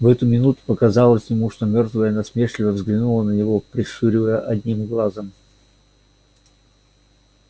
в эту минуту показалось ему что мёртвая насмешливо взглянула на него прищуривая одним глазом